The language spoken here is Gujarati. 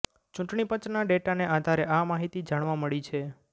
ચૂંટણી પંચનાં ડેટાને આધારે આ માહિતી જાણવા મળી છે